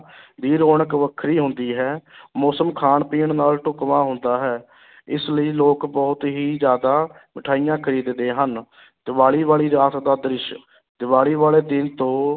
ਦੀ ਰੌਣਕ ਵੱਖਰੀ ਹੁੰਦੀ ਹੈ ਮੌਸਮ ਖਾਣ ਪੀਣ ਨਾਲ ਢੁਕਵਾਂ ਹੁੰਦਾ ਹੈ ਇਸ ਲਈ ਲੋਕ ਬਹੁਤ ਹੀ ਜ਼ਿਆਦਾ ਮਠਿਆਈਆਂ ਖ਼ਰੀਦਦੇ ਹਨ ਦੀਵਾਲੀ ਵਾਲੀ ਰਾਤ ਦਾ ਦ੍ਰਿਸ਼ ਦੀਵਾਲੀ ਵਾਲੇ ਦਿਨ ਤੋਂ